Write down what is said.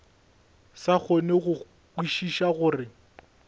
sa kgone go kwešiša gore